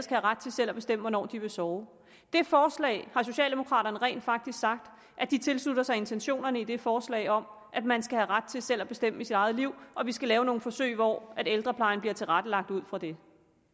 have ret til at bestemme hvornår de vil sove det forslag har socialdemokraterne rent faktisk sagt at de tilslutter sig intentionerne i altså det forslag om at man skal have ret til selv at bestemme i sit eget liv og at vi skal lave nogle forsøg hvor ældreplejen bliver tilrettelagt ud fra det